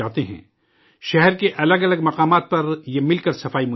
شہر کے الگ الگ مقامات پر یہ مل کر صفائی مہم چلاتے ہیں